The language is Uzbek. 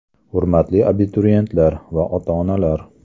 Hurmatli abituriyentlar va ota-onalar !